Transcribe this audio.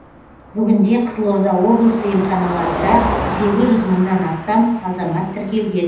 бүгінде қызылорда облысы емханаларында сегіз жүз мыңнан астам азамат тіркелген